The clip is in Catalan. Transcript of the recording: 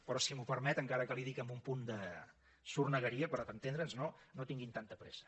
però si m’ho permet encara que li ho dic amb un punt de sornegueria però per entendre’ns no no tinguin tanta pressa